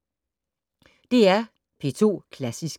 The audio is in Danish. DR P2 Klassisk